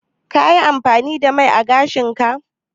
Ka yi amfani da mai ã gashin ka?